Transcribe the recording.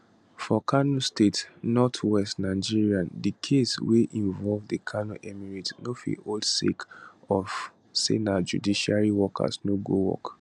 for kano state north west nigeria di case wey involve di kano emirate no fit hold sake of say judiciary workers no go work